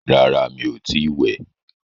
Rárá, mi ò tí wẹ̀.